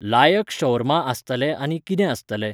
लायक शौर्मा आसतलें आनी कितें आसतलें.